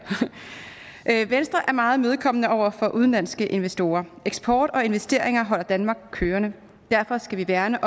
venstre er meget imødekommende over for udenlandske investorer eksport og investeringer holder danmark kørende derfor skal vi værne